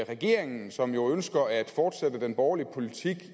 regeringen som jo ønsker at fortsætte den borgerlige politik